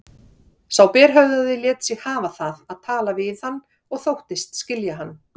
Sá berhöfðaði lét sig hafa það að tala við hann og þóttist skilja hann.